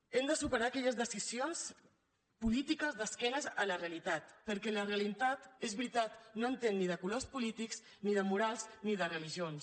hem de superar aquelles decisions polítiques d’esquena a la realitat perquè la realitat és veritat no entén ni de colors polítics ni de morals ni de religions